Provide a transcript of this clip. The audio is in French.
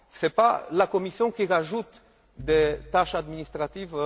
Ce n'est pas la Commission qui ajoute des tâches administratives.